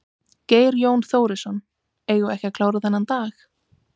Geir Jón Þórisson: Eigum við ekki að klára þennan dag?